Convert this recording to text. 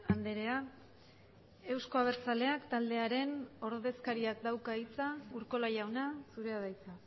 andrea euzko abertzaleak taldearen ordezkariak dauka hitza urkola jauna zurea da hitza